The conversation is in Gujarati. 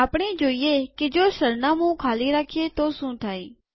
આપણે જોઈએ કે જો સરનામું ખાલી રાખીએ તો શું થાય